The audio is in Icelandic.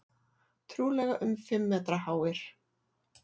Trúlega um fimm metra háir.